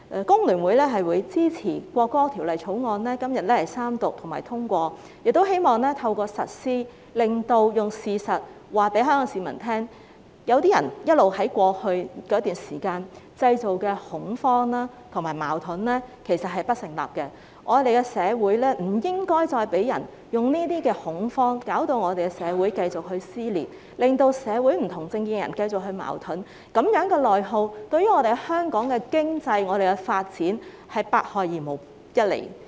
工聯會也會支持《條例草案》三讀通過，並且希望透過實施這項法例，用事實告訴香港市民，有些人過去一直製造的恐慌和矛盾其實並不成立，我們不應再因為恐慌而令社會繼續撕裂，令社會上不同政見的人繼續出現矛盾，這種內耗對香港的經濟和發展是百害而無一利。